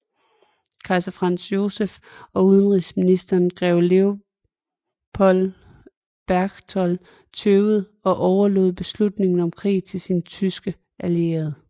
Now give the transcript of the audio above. Kejser Franz Joseph og udenrigsministeren grev Leopold Berchtold tøvede og overlod beslutningen om krig sin sin tyske allierede